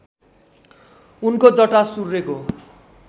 उनको जटा सूर्यको